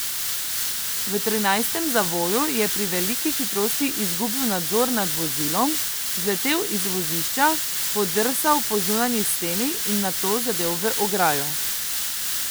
V trinajstem zavoju je pri veliki hitrosti izgubil nadzor nad vozilom, zletel iz vozišča, podrsal po zunanji steni in nato zadel v ograjo.